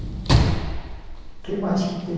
O que mais que tem?